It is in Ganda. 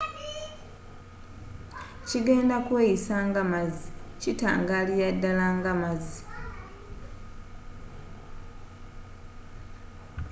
kigenda kweyisa nga mazzi.kitangalira ddala nga amazzi